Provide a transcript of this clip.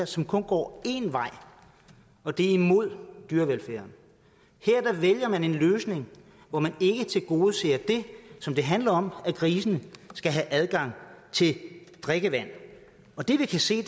som kun går én vej og det er imod dyrevelfærd her vælger man en løsning hvor man ikke tilgodeser det som det handler om at grisene skal have adgang til drikkevand og det vi kan se